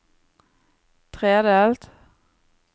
tredelt